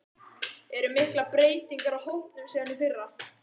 Eru miklar breytingar á hópnum síðan í fyrra?